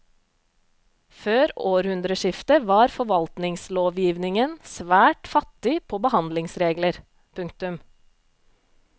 Før århundreskiftet var forvaltningslovgivningen svært fattig på behandlingsregler. punktum